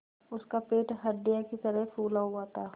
उसका पेट हंडिया की तरह फूला हुआ था